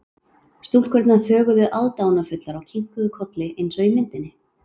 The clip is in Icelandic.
Stúlkurnar þögðu aðdáunarfullar og kinkuðu kolli eins og í myndinni.